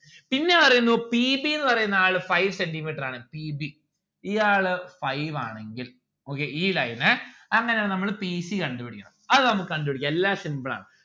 പിന്നെ ആരെയാണു p b ന്ന്‌ പറയുന്ന ആള് five centi metre ആണ് p b ഈ ആള് five ആണെങ്കിൽ നോക്കിയേ ഈ line അങ്ങനെ ആണേൽ നമ്മള് p c കണ്ടുപിടിക്കണം അത് നമ്മുക്ക് കണ്ടുപിടിക്കാം എല്ലാം simple ആണ്